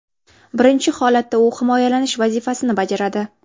Birinchi holatda u himoyalash vazifasini bajaradi.